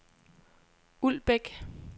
Uldbæk